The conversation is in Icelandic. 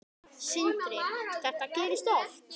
Sindri: Þetta gerist oft?